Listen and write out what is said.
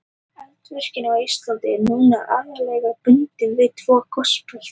Eldvirkni á Íslandi er núna aðallega bundin við tvö gosbelti.